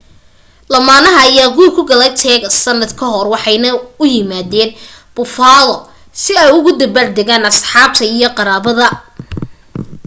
lamaanaha ayaa guur ku galay texas sanad ka hor waxay na u yimaadeen buffalo si ay ula dabaal degaan asxaabta iyo qaraabada